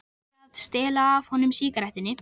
Ætli að stela af honum sígarettunni.